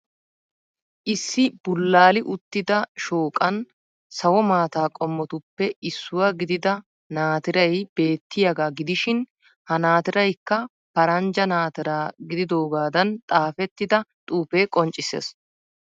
Issi bulaali uttida shooqan sawo maata qomottuppe issuwa gidida naatiray beettiyagaa gidishiin ha naatiraykka faranjja naatiraa gididoogaadan xaafettida xuufee qonccisees.